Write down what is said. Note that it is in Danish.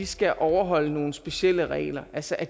skal overholde nogle specielle regler altså at